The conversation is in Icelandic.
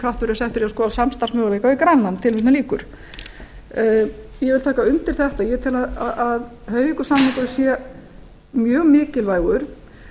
kraftur verið settur í að skoða samstarfsmöguleika við grænland tilvitnun lýkur ég vil taka undir þetta ég tel að hoyvíkursamningurinn sé mjög mikilvægur